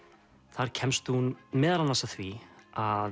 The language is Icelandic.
þar kemst hún meðal annars að því að